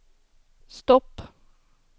stopp